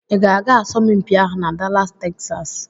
Ị ga-aga asọmpi ahụ na Dallas Texas?